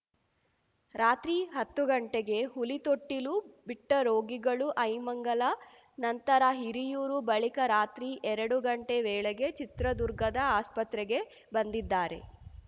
ರಾತ್ರಿ ಹತ್ತು ಗಂಟೆಗೆ ಹುಲಿತೊಟ್ಟಿಲು ಬಿಟ್ಟರೋಗಿಗಳು ಐಮಂಗಲ ನಂತರ ಹಿರಿಯೂರು ಬಳಿಕ ರಾತ್ರಿ ಎರಡು ಗಂಟೆ ವೇಳೆಗೆ ಚಿತ್ರದುರ್ಗದ ಆಸ್ಪತ್ರೆಗೆ ಬಂದಿದ್ದಾರೆ